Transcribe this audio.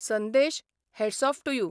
Sandesh, hats off to you '